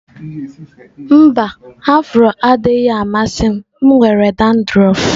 Mba, afro adịghị m amasị m nwere dandruff